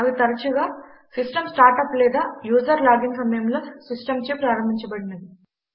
అవి తరచుగా system startup లేదా యూజర్ లాగిన్ సమయంలో సిస్టమ్చే ప్రారంభించబడినవి